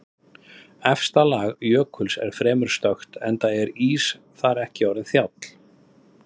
Efsta lag jökuls er fremur stökkt enda er ís þar ekki orðinn þjáll.